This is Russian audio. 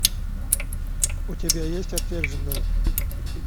у тебя есть отверженные